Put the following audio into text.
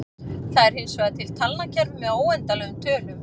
Það eru hinsvegar til talnakerfi með óendanlegum tölum.